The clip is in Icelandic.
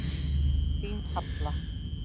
Þín Halla.